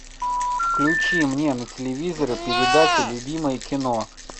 включи мне на телевизоре передачу любимое кино